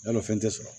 Yarɔ o fɛn tɛ sɔrɔ